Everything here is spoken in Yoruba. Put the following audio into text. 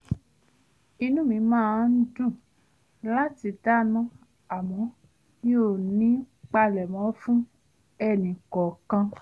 inú mi máa ń dùn láti dáná àmọ́ mi ò ní palémọ́ fún ẹni kọọkan